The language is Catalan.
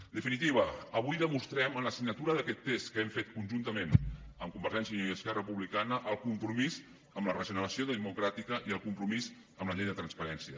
en definitiva avui demostrem amb la signatura d’aquest text que hem fet conjuntament amb convergència i unió i esquerra republicana el compromís amb la regeneració democràtica i el compromís amb la llei de transparència